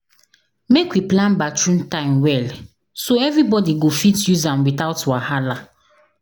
Make we plan bathroom time well, so everybody go fit use am without wahala.